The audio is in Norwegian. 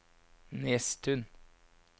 Nesttun